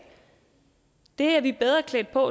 det er vi bedre klædt på